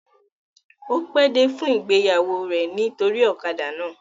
O pe dé fún ìgbéyàwó rẹ nitori ọ̀kadà náà.